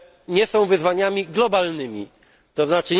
nie są wyzwaniami globalnymi, tzn.